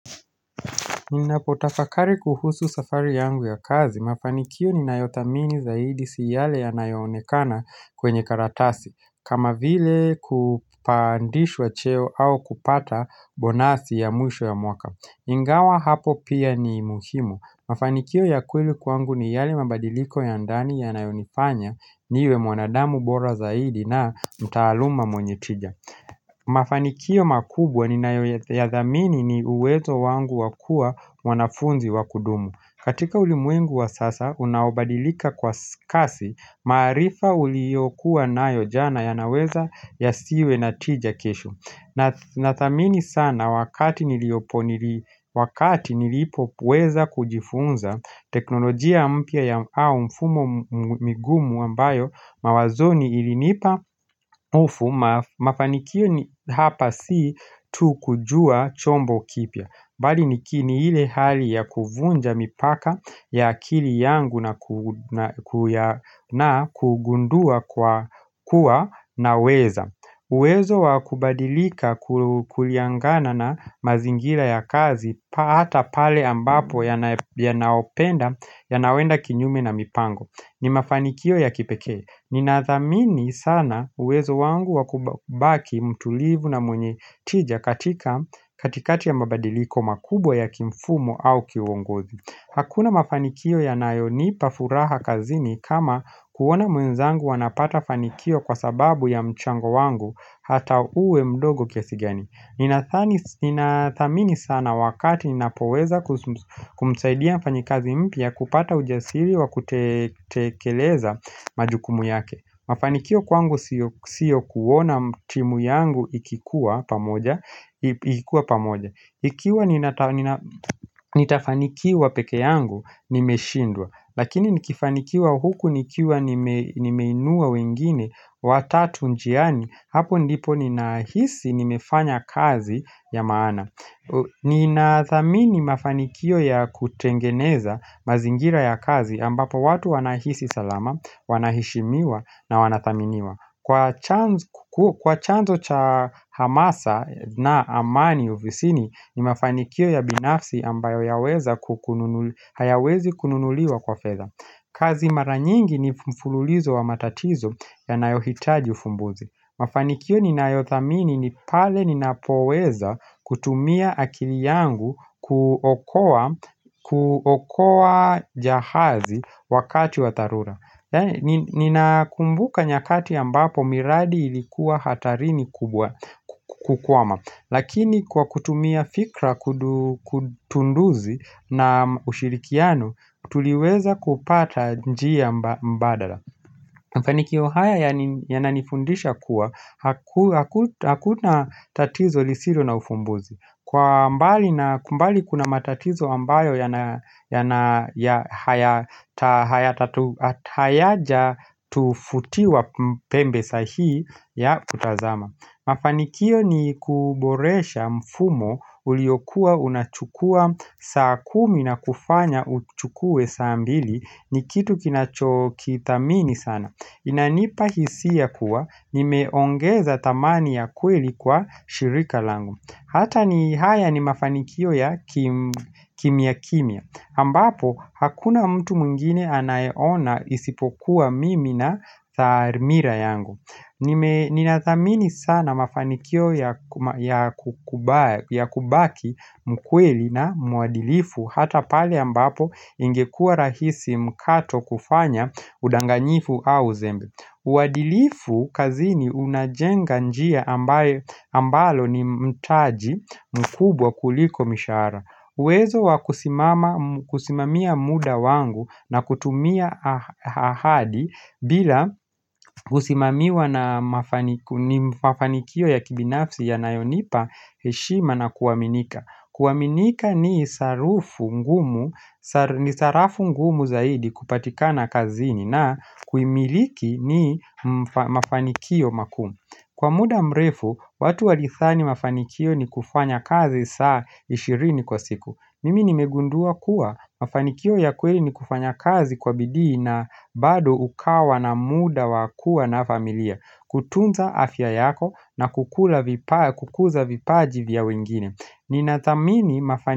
Ninapotafakari kuhusu safari yangu ya kazi, mafanikio ninayodhamini zaidi si yale yanayoonekana kwenye karatasi, kama vile kupandishwa cheo au kupata bonasi ya mwisho ya mwaka. Ingawa hapo pia ni muhimu, mafanikio ya kweli kwangu ni yale mabadiliko ya ndani yanayonifanya, niwe mwanadamu bora zaidi na mtaaluma mwenye triga. Mafanikio makubwa ninayo yathamini ni uwezo wangu wa kua mwanafunzi wakudumu katika ulimwengu wa sasa unaobadilika kwa kasi maarifa uliyokuwa nayo jana yanaweza yasiwe na tija kesho Nathamini sana wakati nilipo weza kujifunza teknolojia mpya ya mfumo migumu ambayo mawazoni ilinipa hofu Mafanikio hapa si tu kujua chombo kipya Bali nikini ile hali ya kuvunja mipaka ya akili yangu na kugundua kuwa naweza uwezo wa kubadilika kuliangana na mazingira ya kazi Hata pale ambapo yanaopenda yanawenda kinyume na mipango ni mafanikio ya kipekee Ninathamini sana uwezo wangu wakubaki mtulivu na mwenye tija katika katikati ya mabadiliko makubwa ya kimfumo au kiwongozi Hakuna mafanikio yanayonipa furaha kazini kama kuona mwenzangu anapata fanikio kwa sababu ya mchango wangu hata uwe mdogo kiasi gani Ninathamini sana wakati ninapoweza kumsaidia mfanyikazi mpya kupata ujasiri wa kutekeleza majukumu yake Mafanikio kwangu siyo kuona timu yangu ikikuwa pamoja Ikiwa nitafanikiwa peke yangu nimeshindwa Lakini nikifanikiwa huku nikiwa nimeinua wengine watatu njiani Hapo ndipo ninahisi nimefanya kazi ya maana Ninathamini mafanikio ya kutengeneza mazingira ya kazi ambapo watu wanahisi salama, wanaheshimiwa na wanathaminiwa Kwa chanzo cha hamasa na amani ovisini ni mafanikio ya binafsi ambayo hayawezi kununuliwa kwa fedha kazi mara nyingi ni mfululizo wa matatizo yanayo hitaji ufumbuzi Mafanikio ninayothamini ni pale ninapoweza kutumia akili yangu kuokowa jahazi wakati wa tharura Ninakumbuka nyakati ambapo miradi ilikuwa hatarini kukwama Lakini kwa kutumia fikra kutunduzi na ushirikiano tuliweza kupata njia mbadala Mafanikio haya yananifundisha kuwa hakuna tatizo lisilo na ufumbuzi Kumbali kuna matatizo ambayo hayaja tufutiwa pembe sahihi ya kutazama Mafanikio ni kuboresha mfumo uliokua unachukua saa kumi na kufanya uchukue saa mbili ni kitu kinachokithamini sana Inanipa hisia kuwa, nimeongeza thamani ya kweli kwa shirika langu Hata ni haya ni mafanikio ya kimya kimya ambapo hakuna mtu mwingine anayeona isipokuwa mimi na tharmira yangu Ninathamini sana mafanikio ya kubaki mkweli na muadilifu Hata pale ambapo ingekua rahisi mkato kufanya udanganyifu au uzembe uadilifu kazini unajenga njia ambalo ni mtaji mkubwa kuliko mishaara Wezo wa kusimamia muda wangu na kutumia ahadi bila kusimamiwa na mafanikio ya kibinafsi yanayonipa heshima na kuaminika kuaminika ni sarafu ngumu zaidi kupatikana kazini na kuimiliki ni mafanikio makumu Kwa muda mrefu, watu walithani mafanikio ni kufanya kazi saa ishirini kwa siku Mimi nimegundua kuwa mafanikio ya kweli ni kufanya kazi kwa bidii na bado ukawa na muda wa kua na familia kutunza afya yako na kukuza vipaji vya wengine ninathamini mafani.